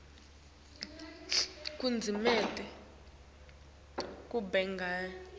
kudzimate kube ngunyalo